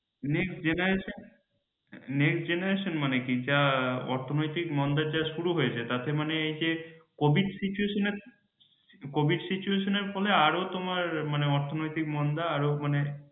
next generationnext generation মানে কি যা অর্থনৈতিক মন্দা যা শুরু হয়েছে তাতে মানে covid situation এর ফলে আরও তোমার মানে অর্থনৈতিক মন্দা আরও মানে